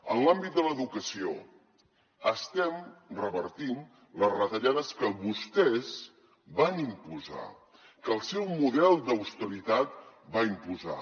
en l’àmbit de l’educació estem revertint les retallades que vostès van imposar que el seu model d’austeritat va imposar